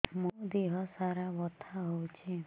ମୋ ଦିହସାରା ବଥା ହଉଚି